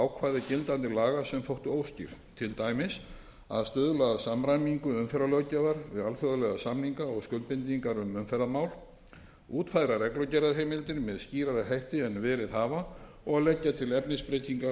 ákvæði gildandi laga sem þóttu óskýr til dæmis að stuðla að samræmingu umferðarlöggjafar við alþjóðlega samninga og skuldbindingar um umferðarmál útfæra reglugerðarheimildir með skýrari hætti en verið hefur og leggja til efnisbreytingar